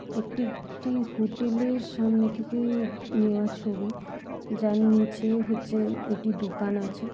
এটি একটি হোটেল এর সামনে থেকে নেওয়া ছবি। যার নিচে হচ্ছে এটি দোকান আছে।